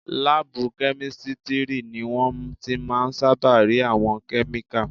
Láàbù kẹ́mísítírì ni wọ́n ti máà ń sáábà rí àwọn kẹ́míkà